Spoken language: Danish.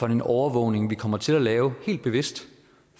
en overvågning vi kommer til at lave helt bevidst